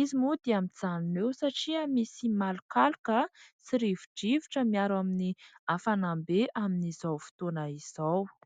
izy moa dia mijanona eo satria misy malokaloka sy rivo-drivotra miaro amin'ny hafanam-be amin'izao fotoana izao.